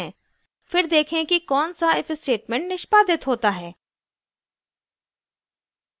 फिर देखें कि कौन सा if statement निष्पादित होता है